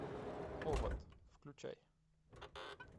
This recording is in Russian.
овод включай